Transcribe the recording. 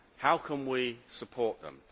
How can we support them?